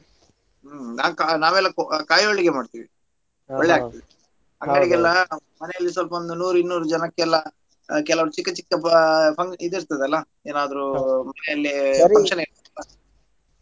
ಹ್ಮ್ ನಾನ್ ಕಾ~ ನಾವೆಲ್ಲಾ ಕೋ~ ಕಾಯ್ ಹೋಳಿಗೆಯೆಲ್ಲಾ ಮಾಡ್ತೀವಿ. ಒಳ್ಲೆಯಾಗ್ತದೆ ಮಕ್ಕಳಿಗೆಲ್ಲ ನಮ್ಮ ಮನೆಯಲ್ಲಿ ಸ್ವಲ್ಪ ಒಂದು ನೂರು ಇನ್ನೂರು ಜನಕ್ಕೆಲ್ಲಾ ಕೆಲವರ್ ಚಿಕ್ಕ ಚಿಕ್ಕ ಆ fun~ ಇದ್ ಇರ್ತದಲ್ಲ ಏನಾದ್ರೂ ಮನೆಯಲ್ಲಿ function .